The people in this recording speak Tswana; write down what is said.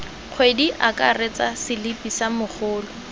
kgwedi akaretsa selipi sa mogolo